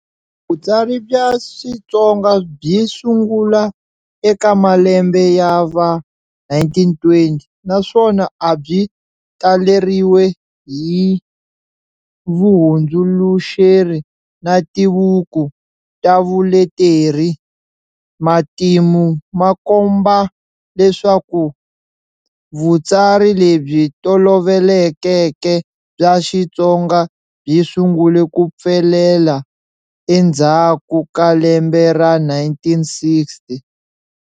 Vutsari bya Xitsonga byi sungula eka malembe ya va 1920, naswona abyi taleriwe hi vuhundzuluxeri na tibuku tavuleteri. Matimu makomba leswaku, vutsari lebyi tolovelekeke bya Xitsonga byi sungule ku pfelela endzhaku ka lembe ra 1960.